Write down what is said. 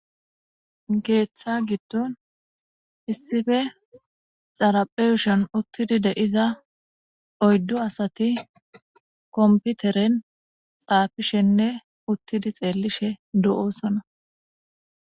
keeththa giddon issife xarapheyushan uttidi deiza oyddu asati komputeren xaafishenne uttidi xeellishe do7osona.